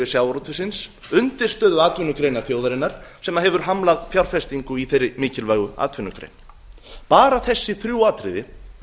sjávarútvegsins undirstöðuatvinnugreinar þjóðarinnar sem hefur hamlað fjárfestingu í þeirri mikilvægu atvinnugrein bara þessi þrjú atriði